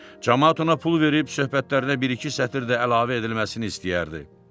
Camaat ona pul verib söhbətlərinə bir-iki sətir də əlavə edilməsini istəyərdi.